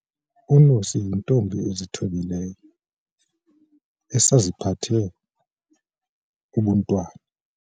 Unosi yintombi ezithobileyo esaziphethe ubuntwana.